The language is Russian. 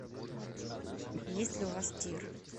есть ли у вас тир